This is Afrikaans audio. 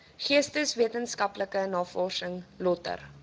geesteswetenskaplike navorsing lötter